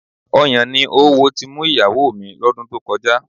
Ọyàn ni oówo ti mú ìyàwó mi lọ́dún tó kọjá